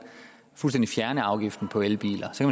fuldstændig fjerne afgiften på elbiler så